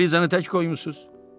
Siz Elizanı tək qoymusuz?